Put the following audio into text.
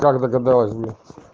как догадалась блять